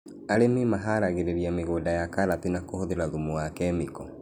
Arĩmi maharagĩrĩria mĩgũnda ya karati na kuhuthĩra thumu wa kemiko